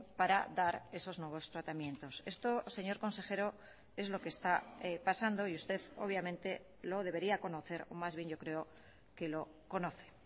para dar esos nuevos tratamientos esto señor consejero es lo que está pasando y usted obviamente lo debería conocer o más bien yo creo que lo conoce